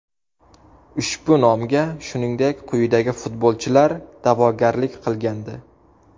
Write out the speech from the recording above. Ushbu nomga shuningdek, quyidagi futbolchilar da’vogarlik qilgandi: !